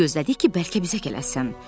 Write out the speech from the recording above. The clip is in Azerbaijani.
Gecə gözlədik ki, bəlkə bizə gələrsən.